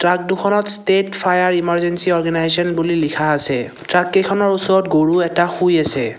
Truck দুখনত state fire emergency organisation বুলি লিখা আছে ট্ৰাক কেইখনৰ ওচৰত গৰু এটা শুই আছে।